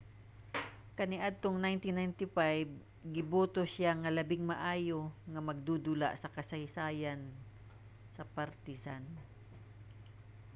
kaniadtong 1995 giboto siya nga labing maayo nga magdudula sa kasaysayan sa partizan